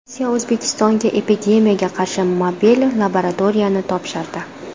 Rossiya O‘zbekistonga epidemiyaga qarshi mobil laboratoriyani topshirdi.